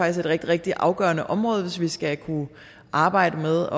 et rigtig rigtig afgørende område hvis vi skal kunne arbejde med